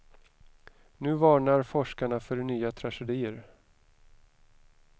Nu varnar forskarna för nya tragedier.